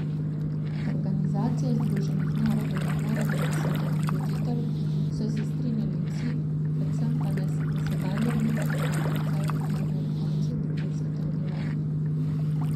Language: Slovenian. Da Organizacija združenih narodov ne more biti svetovni voditelj, so se strinjali vsi, predvsem pa ne v sedanji obliki, ki je odsev razmerij ob koncu druge svetovne vojne.